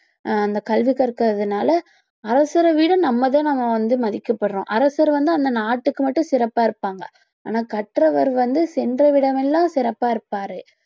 அஹ் அந்த கல்வி கற்கறதுனால அரசர விட நம்ம தான் நம்ம வந்து மதிக்கப்படுறோம் அரசர் வந்து அந்த நாட்டுக்கு மட்டும் சிறப்பாக இருப்பாங்க ஆனால் கற்றவர் வந்து சென்ற இடமெல்லாம் சிறப்பா இருப்பாரு